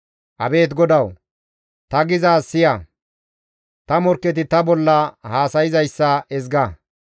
Abeet GODAWU! Ta gizaaz siya; ta morkketi ta bolla haasayzayssa ezga.